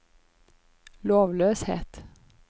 lovløshet